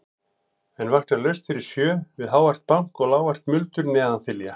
En vakna laust fyrir sjö við hávært bank og lágvært muldur neðan þilja.